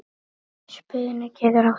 Spuni getur átt við